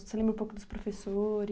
Você lembra um pouco dos professores?